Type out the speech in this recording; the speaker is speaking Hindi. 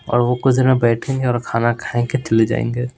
और वो कुछ देर में बैठेंगे और खाना खाएंगे चले जाएंगे--